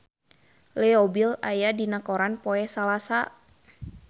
Leo Bill aya dina koran poe Salasa